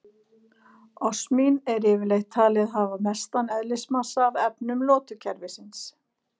Osmín er yfirleitt talið hafa mestan eðlismassa af efnum lotukerfisins.